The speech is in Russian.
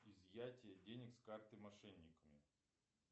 изъятие денег с карты мошенниками